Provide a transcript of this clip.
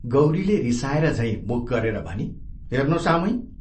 गौरीले रिसाएर झैं मुख गरेर भनी, "हेर्नोस् आमै!